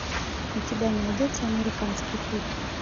у тебя найдется американский путь